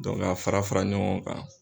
a fara fara ɲɔgɔn kan.